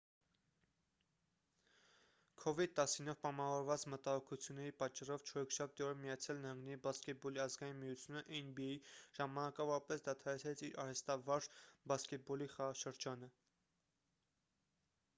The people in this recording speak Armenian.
covid-19-ով պայմանավորված մտահոգությունների պատճառով չորեքշաբթի օրը միացյալ նահանգների բասկետբոլի ազգային միությունը nba ժամանակավորապես դադարեցրեց իր արհեստավարժ բասկետբոլի խաղաշրջանը: